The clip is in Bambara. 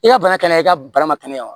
I ka bana kɛnɛ i ka bana ma kɛnɛya wa